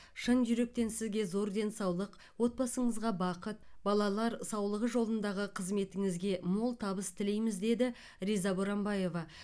шын жүректен сізге зор денсаулық отбасыңызға бақыт балалар саулығы жолындағы қызметіңізге мол табыс тілейміз деді риза боранбаева